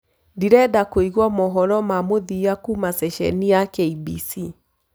ndirenda kuĩgwa mohoro ma mũthia kuma sesheni ya K.B.C